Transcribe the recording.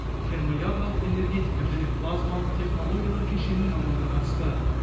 термоядролық энергетика және плазмалық технологиялар кешенінің мамандары қатысты